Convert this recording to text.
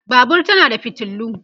Babur tana da fitilu